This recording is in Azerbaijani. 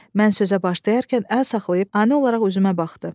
Mən sözə başlayarkən əl saxlayıb ani olaraq üzümə baxdı.